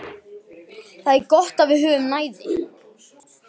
Það er gott að við höfum næði.